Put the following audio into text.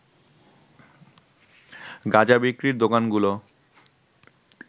গাঁজা বিক্রির দোকানগুলো